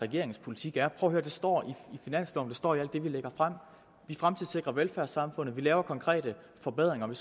regeringens politik er prøv at høre det står i finansloven det står i alt det vi lægger frem vi fremtidssikrer velfærdssamfundet vi laver konkrete forbedringer vi